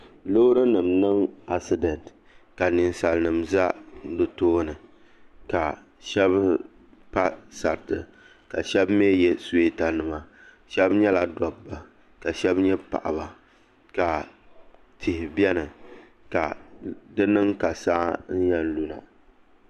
Loori nim n niŋ asidɛnt ka ninsal nim ʒɛ di tooni ka shab pa saritika shab mii yɛ suyeeta nima shab nyɛla dabba ka shab nyɛ paɣaba ka tihi biɛni ka di niŋ ka saa n yɛn luna